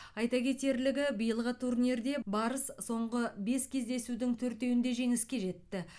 айта кетерлігі биылғы турнирде барыс соңғы бес кездесудің төртеуінде жеңіске жетті